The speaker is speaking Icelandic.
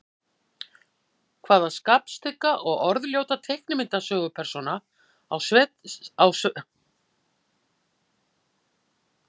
Hvaða skapstygga og orðljóta teiknimyndasögupersóna á sveitasetrið Myllusetur?